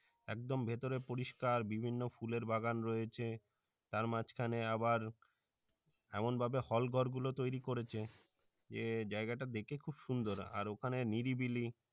একদম ভেতরে পরিষ্কার বিভিন্ন ফুলের বাগান রয়েছে তার মাঝখানে আবার এমন ভাবে hall ঘর গুলো তৈরি করেছে যে জাইগাটা দেখে খুব সুন্দর আর ওখানে নিরিবিলি